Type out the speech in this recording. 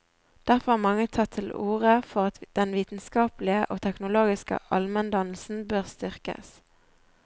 Derfor har mange tatt til orde for at den vitenskapelige og teknologiske almendannelsen bør styrkes.